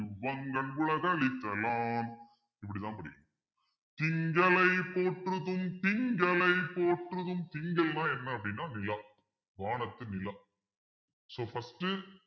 வங்கண் உலகுஅளித்த லான் இப்படித்தான் படிக்கணும் திங்களை போற்றுதும் திங்களை போற்றுதும் திங்கள்ன்னா என்ன அப்பிடின்னா நிலா வானத்து நிலா so first